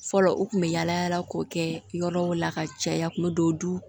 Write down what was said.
Fɔlɔ u kun bɛ yaala yaala k'o kɛ yɔrɔw la ka caya u kun bɛ don du